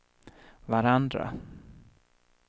varandra